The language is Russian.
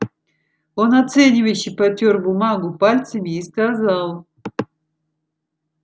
он оценивающе потёр бумагу пальцами и сказал